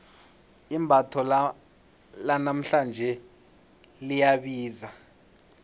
imbatho lanamhlanje liyabiza